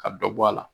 Ka dɔ bɔ a la